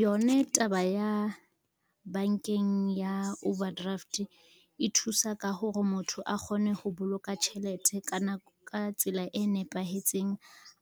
Yone taba ya, bankeng ya overdraft e thusa ka hore motho a kgone ho boloka tjhelete ka tsela e nepahetseng,